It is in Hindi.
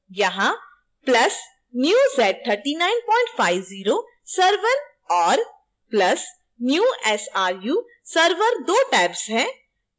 यहाँ + new z3950 server और + new sru server दो tabs हैं